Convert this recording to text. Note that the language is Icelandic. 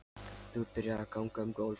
Þú byrjar að ganga um gólf.